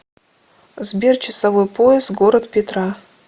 сбер часовой пояс город петра